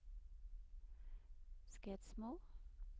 Skedsmo